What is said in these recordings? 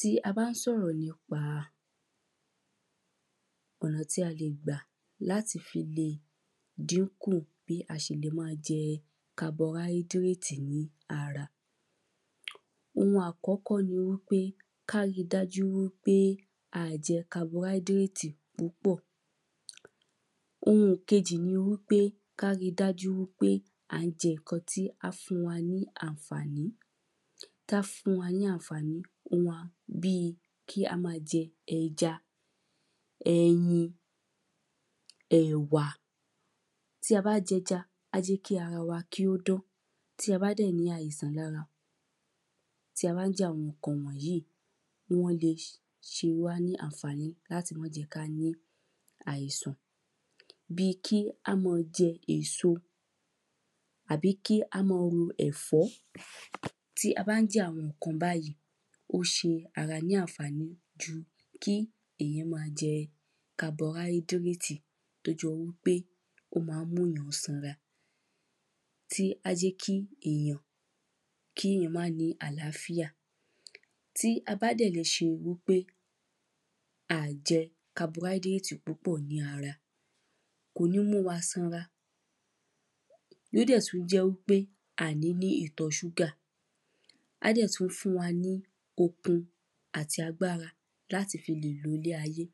tí a bá ń sọ̀rọ̀ nípa ọ̀nà tí a lè gbà láti fi le dínkù bí a ṣe le má jẹ kabọáídréètì ní ara ohun àkọ́kọ́ ni wípé ká ri dájú wípé àìjẹ kabọáídrétì púpọ̀ ohun ìkejì ni wípé ká ri dájú wípé à ń jẹ ǹkan tí a fún wa ní àǹfàní tá fún wa ní àǹfàní bí kí á ma jẹ ẹja ẹyin ẹ̀wà tí a bá jẹja á jẹ́ kí ara wa kí ó dán tí a bá dẹ̀ ní àìsàn lára tí a bá ń jẹ àwọn ǹkan wọ̀nyí wọ́n le ṣe wá ní àǹfàní láti mọ́ je ká ní àìsàn bi kí á mọ́ jẹ èso àbí kí á mọ́ ro ẹ̀fọ́ tí a bá jẹ àwọn ǹkan báyìí ó ṣe ara ní àǹfàní ju kí èyàn ma jẹ kabọáídréètì tó jọ wípé ó ma mú yàn sanra tí á jẹ́ kí èyàn kíyàn má ní àláfíà tí a bá dẹ̀ lè ṣe wípé a jẹ̀ kabọáídréètì púpọ̀ ní ara kò ní múwa sanra yóò dẹ̀ tú jẹ́ wípé à ní ní ìtọ̀ ṣúgà á dẹ̀ tú fún wa ní okun àti agbára láti fi lè ilé ayé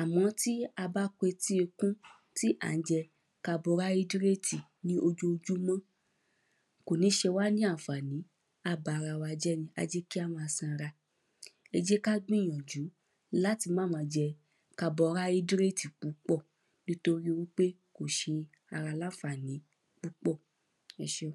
à mọ́ tí a bá kan etí ìkún tí à ń jẹ kabọáídréètì ní ojojúmọ́ kò ní ṣe wá ní àǹfàní á bara wa jẹ́ ni á jẹ́ kí á ma sanra ẹ jẹ́ ká gbìyànjú láti má ma jẹ kabọáídréètì púpọ̀ nítorí wípé kò ṣe ara làǹfàní púpọ̀ ẹ ṣé